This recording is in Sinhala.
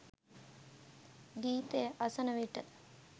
ගීතය අසන විට